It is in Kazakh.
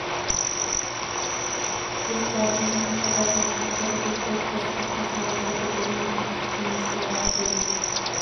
ел қорғаған батырлардың ұрпақтары гүл қойып қаза тапқан сарбаздарды бір минут үнсіздікпен еске алды ақтөбе